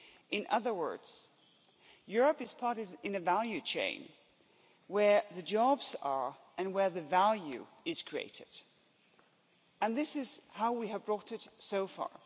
In other words, Europe's part is in a value chain where the jobs are and where the value is created, and this is how we have brought it so far.